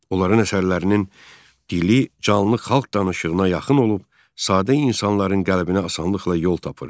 Onların əsərlərinin dili canlı xalq danışığına yaxın olub, sadə insanların qəlbinə asanlıqla yol tapırdı.